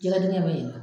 Jɛgɛ dingɛ bɛ yen nɔ